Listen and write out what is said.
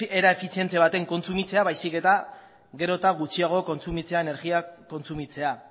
era efizientzia baten kontsumitzea baizik eta gero eta gutxiago kontsumitzea energia kontsumitzea